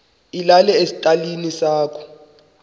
ilale esitalini sakho